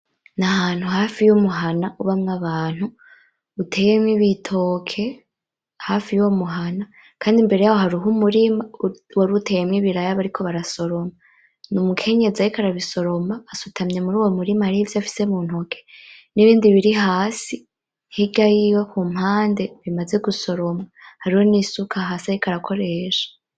Nahantu hafi y'umuhana ubamwo abantu, uteyemwo ibitoke hafi yuyo muhana, kandi imbere yaho hariho umurima war'uteyemwo ibiraya bariko barasoroma n'umukenyezi ariko arabisoroma asutamye murowo murima harivyo afise muntoki, nibindi biri hasi hirya yiwe kumpande bimaze gusoromwa, hariho n'isuka hasi ariko arakoresha.